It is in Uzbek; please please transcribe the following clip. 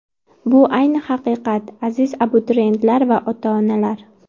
Bu ayni haqiqat, aziz abituriyentlar va ota-onalar!